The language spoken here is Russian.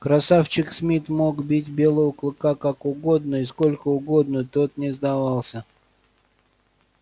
красавчик смит мог бить белого клыка как угодно и сколько угодно тот не сдавался